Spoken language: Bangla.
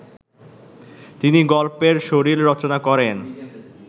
তিনি গল্পের শরীর রচনা করেন